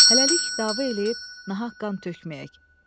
Hələlik dava eləyib nahaq qan tökməyək.